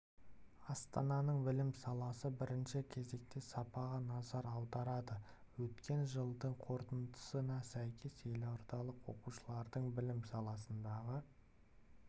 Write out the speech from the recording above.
астананың білім саласы бірінші кезекте сапаға назар аударады өткен жылдың қорытындысына сәйкес елордалық оқушылардың білім саласындағы